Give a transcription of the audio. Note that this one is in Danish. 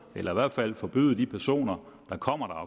eller i hvert fald forbyde de personer der kommer